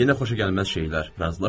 Yenə xoşagəlməz şeylər.